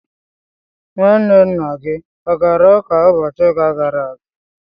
nwanne nna gị ọ gara ụka ụbọchị ụka gara aga